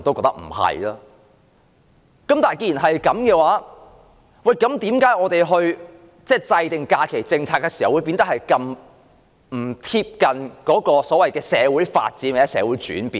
但是，既然這樣的話，為甚麼我們制訂假期政策時，不能貼近社會的發展和轉變？